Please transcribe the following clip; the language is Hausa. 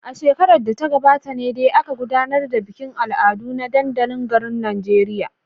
A shekarar da ta gabata ne dai aka gudanar da bikin al'adu a dandalin garin a Najeriya.